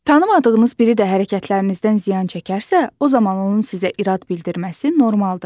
Tanımadığınız biri də hərəkətlərinizdən ziyan çəkərsə, o zaman onun sizə irad bildirməsi normaldır.